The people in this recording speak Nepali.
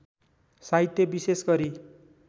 साहित्य विशेष गरी